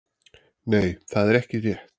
Nei, það er ekki rétt.